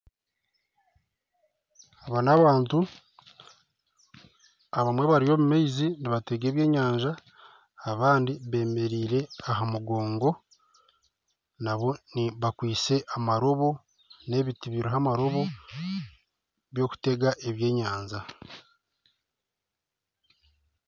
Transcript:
Aba n'abantu abamwe bari omu maizi nibatega ebyenyanja abandi bemereire aha mugongo nabo bakwaitse amarobo n'ebiti biriho amarobo byokutega ebyenyanja